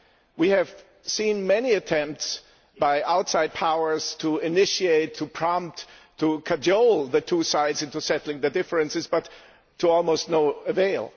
we have seen many attempts by outside powers to initiate, to prompt, to cajole the two sides into settling their differences, but to no avail.